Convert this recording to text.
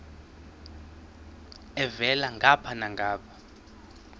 elhavela ngapha nangapha